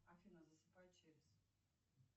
афина засыпай через